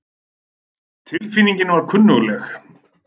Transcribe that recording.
Tilfinningin var kunnugleg.